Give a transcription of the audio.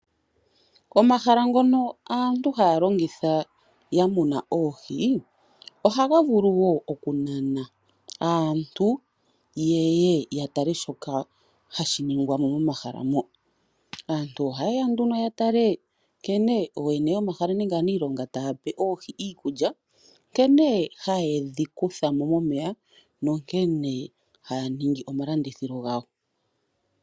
Omahala ngono aantu haya longitha mokumuna oohi, ohaga vulu woo okunana aantu yeye ya tale shoka hashi ningwa momahala ngoka. Aantu ohaye ya ya tale nkene ooyene yomahala nenge aaniilonga taya pe oohi iikulya, nkene haye dhi kutha mo momeya nankene haya ningi omalandithilo gawo.